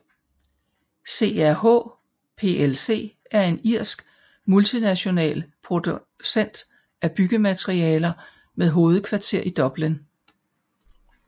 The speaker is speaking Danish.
CRH plc er en irsk multinational producent af byggematerialer med hovedkvarter i Dublin